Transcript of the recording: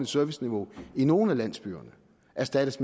serviceniveau i nogle af landsbyerne erstattes